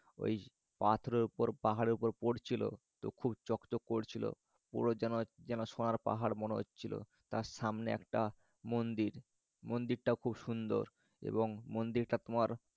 নই পাথরের উপর পাহারের উপর পরছিল তো খুব চকচক করছিল। পুরো যেন সোনার পাহাড় মনে হচ্ছিল। তার সামনে মানে একটা মন্দির। মন্দিরটাও খুব সুন্দর। এবং মন্দিরটা তোমার।